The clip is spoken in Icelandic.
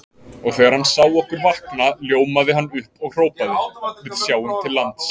Og þegar hann sá okkur vakna ljómaði hann upp og hrópaði: Við sjáum til lands!